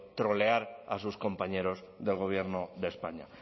trolear a sus compañeros del gobierno de españa